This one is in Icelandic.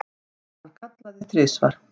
Hann kallaði þrisvar.